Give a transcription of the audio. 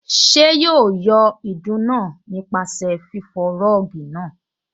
Ṣé yóò yọ ìdun náà nípasẹ̀ fífọ rọ́ọ̀gì náà?